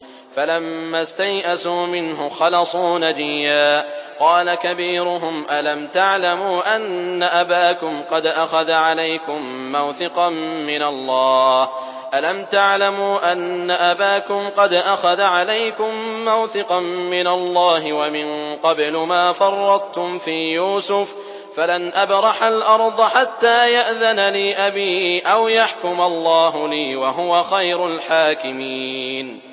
فَلَمَّا اسْتَيْأَسُوا مِنْهُ خَلَصُوا نَجِيًّا ۖ قَالَ كَبِيرُهُمْ أَلَمْ تَعْلَمُوا أَنَّ أَبَاكُمْ قَدْ أَخَذَ عَلَيْكُم مَّوْثِقًا مِّنَ اللَّهِ وَمِن قَبْلُ مَا فَرَّطتُمْ فِي يُوسُفَ ۖ فَلَنْ أَبْرَحَ الْأَرْضَ حَتَّىٰ يَأْذَنَ لِي أَبِي أَوْ يَحْكُمَ اللَّهُ لِي ۖ وَهُوَ خَيْرُ الْحَاكِمِينَ